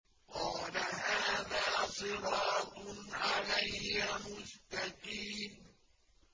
قَالَ هَٰذَا صِرَاطٌ عَلَيَّ مُسْتَقِيمٌ